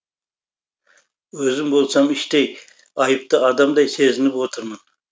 өзім болсам іштей айыпты адамдай сезініп отырмын